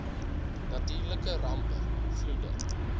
natuurlike rampe vloede